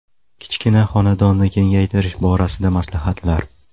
Kichkina xonadonni kengaytirish borasida maslahatlar.